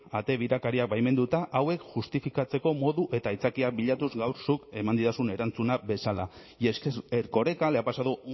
ate birakariak baimenduta hauek justifikatzeko modu eta aitzakiak bilatuz gaur zuk eman didazun erantzuna bezala y es que erkoreka le ha pasado